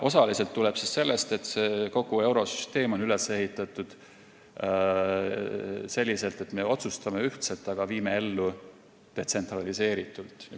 Osaliselt tuleb see sellest, et kogu eurosüsteem on üles ehitatud selliselt: me otsustame ühtselt, aga viime ellu detsentraliseeritult.